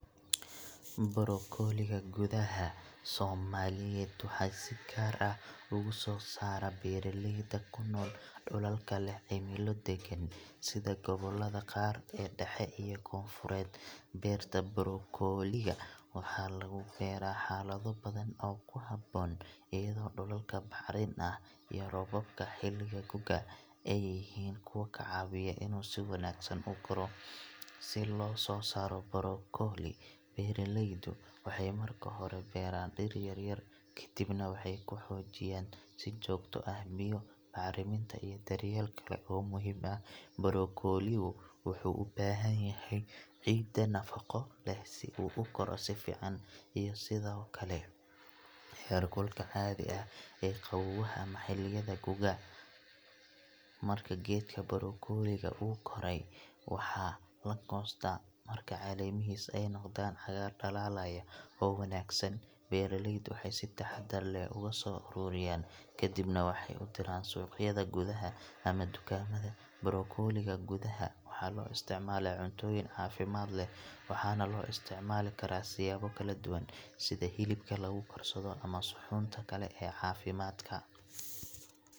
Bargolika gudaha soomaliya waxay sii gar ah ogu sosar barilayda kunol dulka laah cilimada dagan, sidaa gawalada qar daxa iyo gon furad barta bargolida, waxaa lagu barah xalad baadan oo ku habon ayada dulka baxdin ah roobka xilika gukaa, ayihin ku cawiyoh sii wagsan igu rooh sii lososaroh bargoli baralaydu waxay marka hori ku baran dir yar kadhib, waxau ku hojiyan sii jogta ah biyo carin iyoh daryalka oo muhiimka ah baragoliyoh, wuxuu ubahan yahay cidaa nafiqo sii u ugorah sii fican iyo sidaa okle, xirkulka aa qawaha ama xiliyada gukaa marka gadka bargolika goray, waxaa lagostah marka ay calimihisa ay noqdan wax dalalayan oo wagsan, barlayda waxay sii taxadar lah oga so ururiyan, kadhib nah waxay udiran suqyada guda haa, ama tugamada bargolika guda waxaa loo isticmalah cuntoyin cafimad laah waxa naa loo isticmali, siyaba kala dugan, sidaa kal cotoyinka lagu garsadoh saa xunta kle cafimadka.